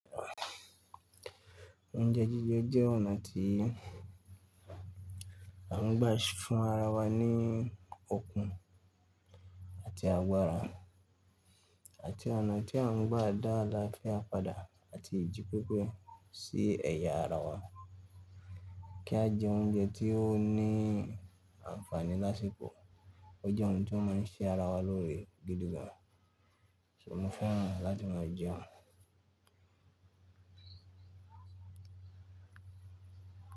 Oúnjẹ jíjẹ jẹ́ ọ̀nà tí a ń gba fún ara wa ní okun àti agbára, àti ọ̀nà tí a ń gba ada lafẹ́ àpadà àti ìjípépé sí ẹ̀yà ara wa. Kí a jẹ oúnjẹ tí ó ní ànfàní lásìkò. Ó jẹ́ ohun tí ó má ń sé ara wa lóre gidi gan. Ṣé mo fún ọ láti máa jẹun?